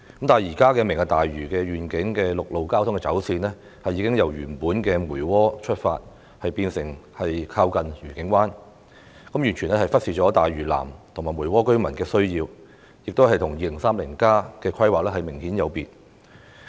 但是，現時提出的"明日大嶼願景"的陸路交通走線，已由原來從梅窩出發變成靠近愉景灣，完全忽視了大嶼南和梅窩居民的需要，並明顯有別於《香港 2030+》的規劃。